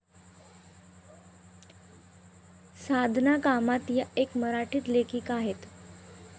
साधना कामत या एक मराठी लेखिका आहेत.